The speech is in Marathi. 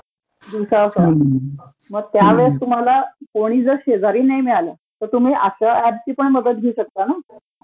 दिवसासुध्दा, त्यावेळेस तुम्हाला कोणी जर शेजारी नाही मिळालं तर तुम्ही अश्या ऍपची पण मदत घेऊ शकता ना...